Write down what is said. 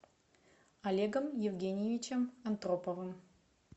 олегом евгеньевичем антроповым